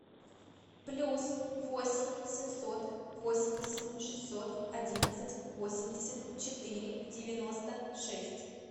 плюс восемь семьсот восемьдесят шестьсот одиннадцать восемьдесят четыре девяносто шесть